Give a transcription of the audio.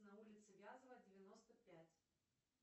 на улице вязова девяносто пять